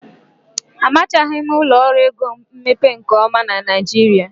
Amachaghị ụlọ ọrụ ego mmepe nke ọma na Naịjirịa.